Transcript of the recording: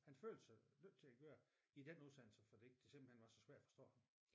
Han følte sig nødt til at gøre det i den udsendelse fordi det simpelthen var så svært at forstå ham